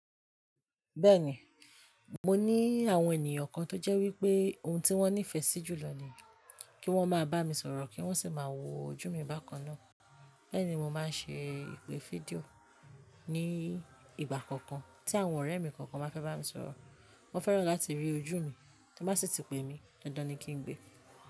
Bẹ́ẹ̀ni, mo ní àwọn ènìyàn kan tó jẹ́ wípé ohun tí wón nífẹ̀ẹ́ sí jùlọ ni kí wón máa bá mi sọ̀rọ̀ kí wón sì máa wo ojú mi bákan náà. Bẹ́ẹ̀ ni mo máa ń ṣe ìpè fídíò ní ìgbà kọ̀ọ̀kan tí àwọn ọ̀rẹ́ mi kọ̀ọ̀kan bá fẹ́ bá mi sọ̀rọ̀. Wọ́n fẹ́ràn láti rí ojú mi, tí wọ́n bá sì ti pe mí, dandan ni kí n gbé.